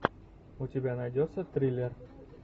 у тебя найдется триллер